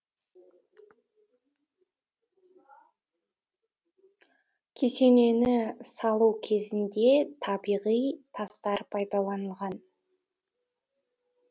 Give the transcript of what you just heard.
кесенені салу кезінде табиғи тастар пайдаланылған